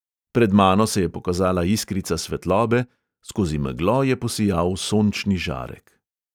Pred mano se je pokazala iskrica svetlobe, skozi meglo je posijal sončni žarek.